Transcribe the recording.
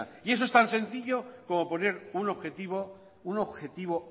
amaitzen joan prieto jauna ahora termino y eso es tan sencillo como un objetivo